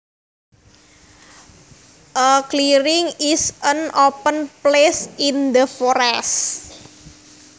A clearing is an open place in the forest